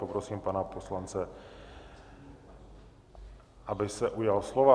Poprosím pana poslance, aby se ujal slova.